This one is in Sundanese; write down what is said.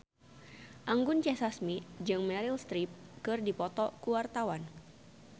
Anggun C. Sasmi jeung Meryl Streep keur dipoto ku wartawan